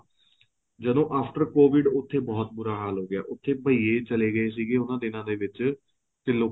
ਜਦੋਂ after COVID ਉੱਥੇ ਬਹੁਤ ਬੂਰਾ ਹਾਲ ਹੋ ਗਿਆ ਉੱਥੇ ਬਈਏ ਚਲੇ ਗਏ ਸੀ ਉਹਨਾ ਦਿਨਾ ਦੇ ਵਿੱਚ ਤੇ ਲੋਕਾਂ